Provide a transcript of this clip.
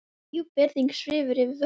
Djúp virðing svífur yfir vötnum.